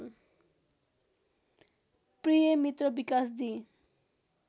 प्रिय मित्र विकासजी